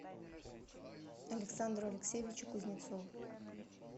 александру алексеевичу кузнецову